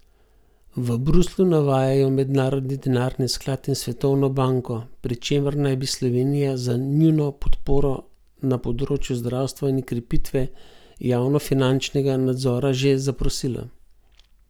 V Bruslju navajajo Mednarodni denarni sklad in Svetovno banko, pri čemer naj bi Slovenija za njuno podporo na področju zdravstva in krepitve javnofinančnega nadzora že zaprosila.